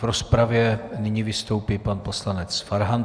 V rozpravě nyní vystoupí pan poslanec Farhan.